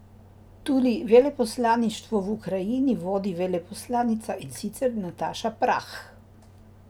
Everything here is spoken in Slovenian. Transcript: Tudi veleposlaništvo v Ukrajini vodi veleposlanica, in sicer Nataša Prah.